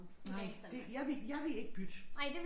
Nej det jeg vil jeg vil ikke bytte